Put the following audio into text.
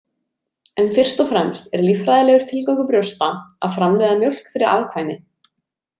En fyrst og fremst er líffræðilegur tilgangur brjósta að framleiða mjólk fyrir afkvæmi.